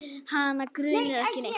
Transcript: Hana grunar ekki neitt.